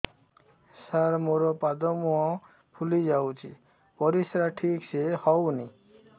ସାର ମୋରୋ ପାଦ ମୁହଁ ଫୁଲିଯାଉଛି ପରିଶ୍ରା ଠିକ ସେ ହଉନି